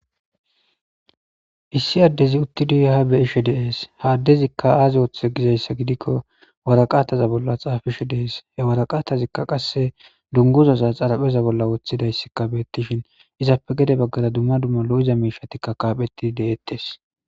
issi addezi uttiduye ha beishe deees ha addezikka aazi woththe gizayssa gidikko waraqataza bolla xaafishe deees he waraqatazikka qasse dunguzaza xarapheza bolla woththidayssikka beettishin izappe gede baggara dumma dumma lo7iza miishatikka kaaphetti deettes